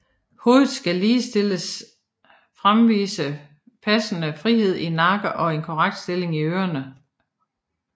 Hovedet skal ligeledes fremvise passende frihed i nakken og en korrekt stilling af ørerne